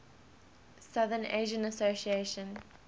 south asian association